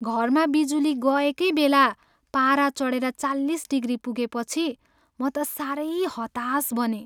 घरमा बिजुली गएकै बेला पारा चढेर चालिस डिग्री पुगेपछि म त साह्रै हताश बनेँ।